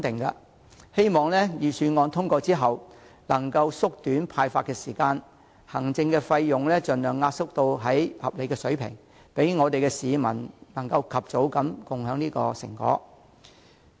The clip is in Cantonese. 我希望預算案通過後，能夠縮短發放款項所需的時間，並且把行政費盡量壓縮至合理水平，讓市民盡早分享成果。